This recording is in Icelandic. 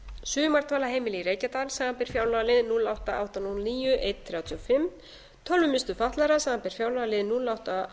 sumardvalarheimili í reykjadal samanber fjárlagalið núll átta til átta hundruð og níu til eina þrjátíu og fimm tölvumiðstöð fatlaðra samanber fjárlagalið núll átta til